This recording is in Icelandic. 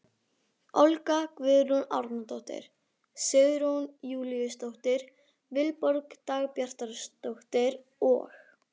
Olga Guðrún Árnadóttir, Sigrún Júlíusdóttir, Vilborg Dagbjartsdóttir og